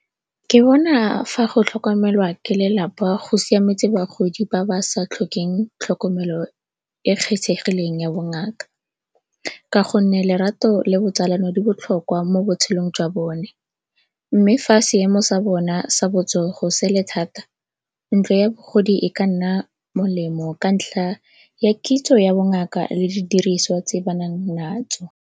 Ke bona fa go tlhokomelwa ke lelapa go siametse bagodi ba ba sa tlhokeng tlhokomelo e kgethegileng ya bongaka, ka gonne lerato le botsalano di botlhokwa mo botshelong jwa bone. Mme fa seemo sa bona sa botsogo sele thata ntlo ya bagodi e ka nna molemo ka ntlha ya kitso ya bongaka le didiriswa tse ba nang natso.